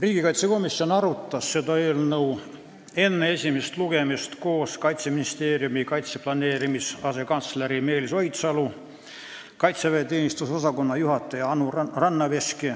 Riigikaitsekomisjon arutas seda eelnõu enne esimest lugemist siin saalis koos Kaitseministeeriumi kaitseplaneerimise asekantsleri Meelis Oidsalu, kaitseväeteenistuse osakonna juhataja Anu Rannaveski